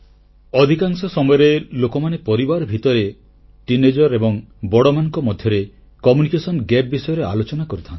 ଅଧିକାଂଶ ସମୟରେ ଲୋକମାନେ ପରିବାର ଭିତରେ କିଶୋର କିଶୋରୀ ଏବଂ ବଡ଼ମାନଙ୍କ ମଧ୍ୟରେ ସଂଯୋଗଗତ ବ୍ୟବଧାନCommunication ଜିଏପି ବିଷୟରେ ଆଲୋଚନା କରିଥାନ୍ତି